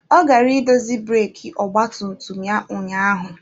Ọ gara idozi breeki ọgba tum tum ya ụnyaahụ.